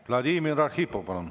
Vladimir Arhipov, palun!